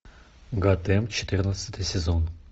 готэм четырнадцатый сезон